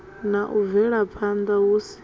na u bvelaphanda hu si